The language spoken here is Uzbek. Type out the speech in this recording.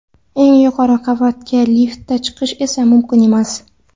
Eng yuqori qavatga liftda chiqish esa mumkin emas.